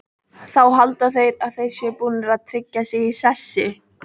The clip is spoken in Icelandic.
Þá halda þeir að þeir séu búnir að tryggja sig í sessi.